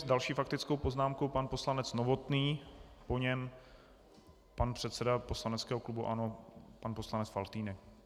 S další faktickou poznámkou pan poslanec Novotný, po něm pan předseda poslaneckého klubu ANO pan poslanec Faltýnek.